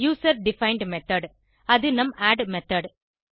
user defined method அது நம் add method